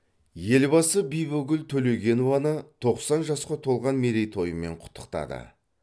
елбасы бибігүл төлегенованы тоқсан жасқа толған мерейтойымен құттықтады